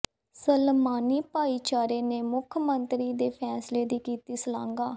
ਸਲਮਾਨੀ ਭਾਈਚਾਰੇ ਨੇ ਮੁੱਖ ਮੰਤਰੀ ਦੇ ਫ਼ੈਸਲੇ ਦੀ ਕੀਤੀ ਸ਼ਲਾਘਾ